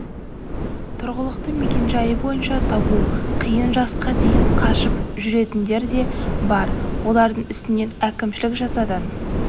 тұрғылықты мекенжайы бойынша табу қиын жасқа дейін қашып жүретіндер де бар олардың үстінен әкімшілік жазадан